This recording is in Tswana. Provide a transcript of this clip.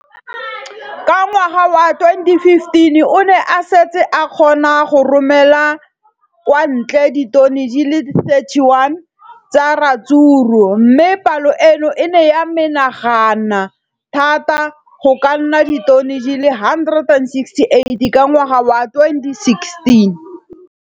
Ka ngwaga wa 2015, o ne a setse a kgona go romela kwa ntle ditone di le 31 tsa ratsuru mme palo eno e ne ya menagana thata go ka nna ditone di le 168 ka ngwaga wa 2016.